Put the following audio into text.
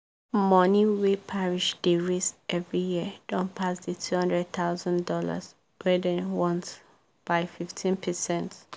money wey parish dey raise every year don pass the two thousand dollars00 wey dem want by 15 percent